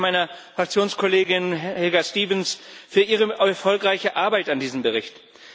Ich danke meiner Fraktionskollegin Helga Stevens für ihre erfolgreiche Arbeit an diesem Bericht.